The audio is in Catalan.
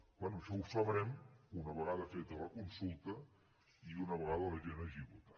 bé això ho sabrem una vegada feta la consulta i una vegada la gent hagi votat